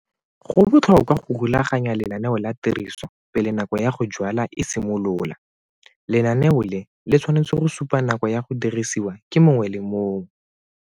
Go botlhokwa go rulaganya lenaneo la tiriso pele nako ya go jwala e simolola. Lenaneo le le tshwanetse go supa nako ya go dirisiwa ke mongwe le mongwe.